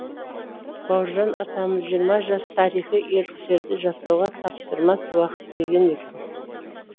бауыржан атамыз жиырма жас тарихи ерліктерді жасауға таптырмас уақыт деген екен